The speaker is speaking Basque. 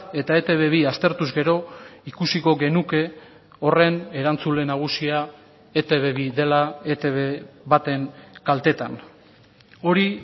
eta etb bi aztertuz gero ikusiko genuke horren erantzule nagusia etb bi dela etb baten kaltetan hori